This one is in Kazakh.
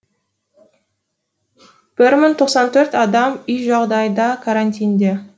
бір мың тоқсан төрт адам үй жағдайында карантинде